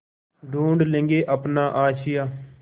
ढूँढ लेंगे अपना आशियाँ